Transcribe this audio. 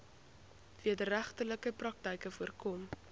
wederregtelike praktyke voorkom